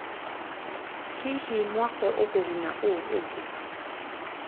Hihi mwako ũkũguna ũũ ũngĩ?